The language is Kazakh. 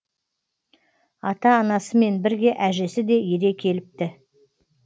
ата анасымен бірге әжесі де ере келіпті